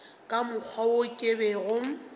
ka mokgwa wo ke bego